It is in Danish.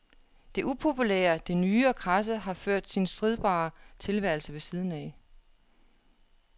Det upopulære, det nye og kradse har ført sin stridbare tilværelse ved siden af.